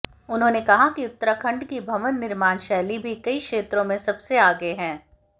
उन्होंने कहा कि उत्तराखंड की भवन निर्माण शैली भी कई क्षेत्रों में सबसे आगे है